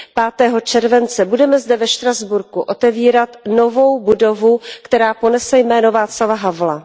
5. července, budeme zde ve Štrasburku otevírat novou budovu, která ponese jméno Václava Havla.